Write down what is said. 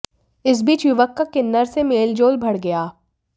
इस बीच युवक का किन्नर से मेलजोल बढ गया